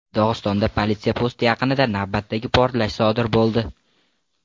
Dog‘istonda politsiya posti yaqinida navbatdagi portlash sodir bo‘ldi.